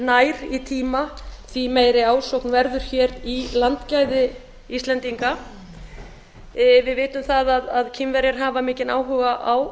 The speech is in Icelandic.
nær í tíma því meiri ásókn verður í landgæði íslendinga við vitum að kínverjar hafa mikinn áhuga á